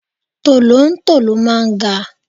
Tolontolo máa ń ga.